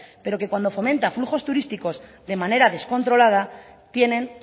pero que cuando fomenta flujos turísticos de manera descontrolada tienen